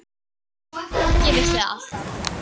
Ég vissi það alltaf.